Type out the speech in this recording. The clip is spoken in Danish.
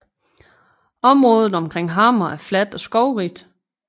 Området omkring Hammer er fladt og skovrigt